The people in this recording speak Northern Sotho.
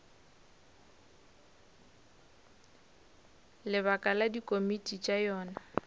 lebaka la dikomiti tša yona